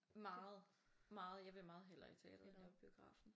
Meget meget jeg vil meget hellere i teateret end at biografen